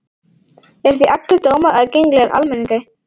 Eru því allir dómar aðgengilegir almenningi.